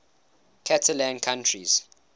catalan countries